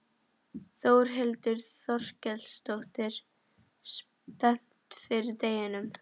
Þórhildur Þorkelsdóttir: Spennt fyrir deginum?